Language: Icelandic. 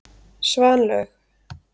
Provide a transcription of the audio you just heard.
Svanlaug